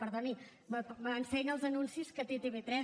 perdoni m’ensenya els anuncis que té tv3